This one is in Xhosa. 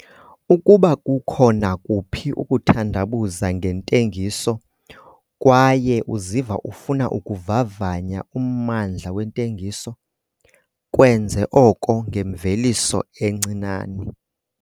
Ukuba kukho nakuphi ukuthandabuza ngentengiso kwaye uziva ufuna ukuvavanya ummandla wentengiso, kwenze oko ngemveliso encinane.